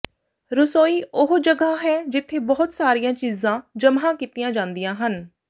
ਰਸੋਈ ਉਹ ਜਗ੍ਹਾ ਹੈ ਜਿੱਥੇ ਬਹੁਤ ਸਾਰੀਆਂ ਚੀਜ਼ਾਂ ਜਮ੍ਹਾ ਕੀਤੀਆਂ ਜਾਂਦੀਆਂ ਹਨ